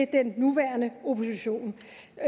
den nuværende opposition